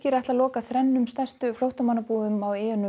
ætla að loka þrennum stærstu flóttamannabúðunum á eyjunum